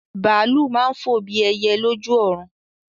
Bàálù máa ń fò bí ẹyẹ lójú ọ̀run.